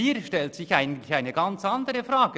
Hier stellt sich eigentlich eine ganz andere Frage: